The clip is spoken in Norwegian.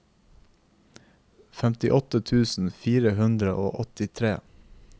femtiåtte tusen fire hundre og åttitre